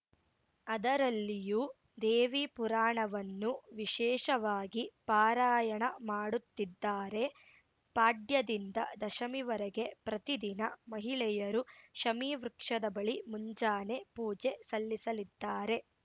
ಅದರಲ್ಲಿಯೂ ದೇವಿ ಪುರಾಣವನ್ನು ವಿಶೇಷವಾಗಿ ಪಾರಾಯಣ ಮಾಡುತ್ತಿದ್ದಾರೆ ಪಾಡ್ಯದಿಂದ ದಶಮಿವರೆಗೆ ಪ್ರತಿದಿನ ಮಹಿಳೆಯರು ಶಮೀವೃಕ್ಷದ ಬಳಿ ಮುಂಜಾನೆ ಪೂಜೆ ಸಲ್ಲಿಸಲಿದ್ದಾರೆ